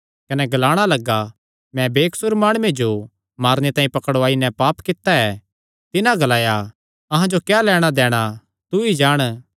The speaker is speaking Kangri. कने ग्लाणा लग्गा मैं बेकसूर माणुये जो मारने तांई पकड़ुआई नैं पाप कित्ता ऐ तिन्हां ग्लाया अहां जो क्या लैणां दैणा तू ई जाण